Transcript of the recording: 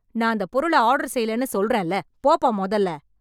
நான் அந்தப் பொருள ஆர்டர் செய்யலனு சொல்றேன்ல போப்பா மொதல்ல